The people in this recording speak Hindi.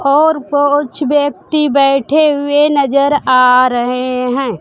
और कुछ व्यक्ति बैठे हुए नजर आ रहे हैं।